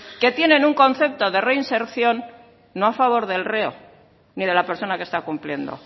que tienen un concepto de reinserción no a favor del reo ni de la persona que está cumpliendo